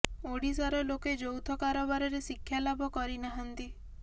ଓଡିଶାର ଲୋକେ ଯୌଥ କାରବାରରେ ଶିକ୍ଷା ଲାଭ କରି ନାହାନ୍ତି